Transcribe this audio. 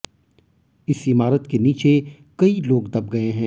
इस इमारत के नीचे कई लोग दब गए हैं